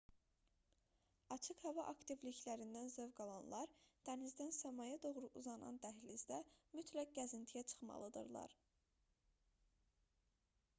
açıq hava aktivliklərindən zövq alanlar dənizdən səmaya doğru uzanan dəhlizdə mütləq gəzintiyə çıxmalıdırlar